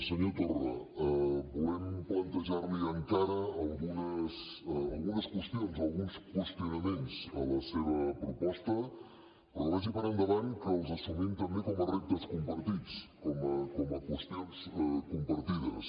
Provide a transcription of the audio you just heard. senyor torra volem plantejar li encara algunes qüestions alguns qüestionaments a la seva proposta però vagi per endavant que els assumim també com a reptes compartits com a qüestions compartides